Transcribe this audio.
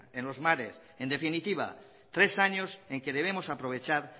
en los mares en definitiva tres años en que debemos aprovechar